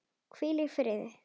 Hvíl í friði.